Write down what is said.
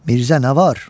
Mirzə nə var?